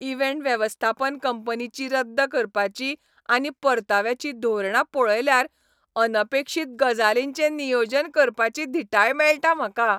Event वेवस्थापन कंपनीची रद्द करपाची आनी परताव्याची धोरणां पळयल्यार अनपेक्षीत गजालींचें नियोजन करपाची धिटाय मेळटा म्हाका.